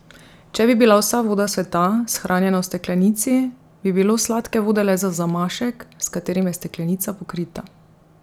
Če bi bila vsa voda sveta shranjena v steklenici, bi bilo sladke vode le za zamašek, s katerim je steklenica pokrita.